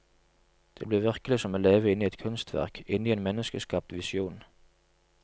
Det blir virkelig som å leve inne i et kunstverk, inne i en menneskeskapt visjon.